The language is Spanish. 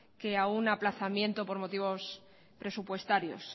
que a un aplazamiento por motivos presupuestarios